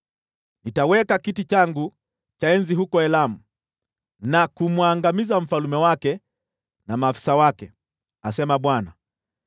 Nitaweka kiti changu cha enzi huko Elamu na kumwangamiza mfalme wake na maafisa wake,” asema Bwana .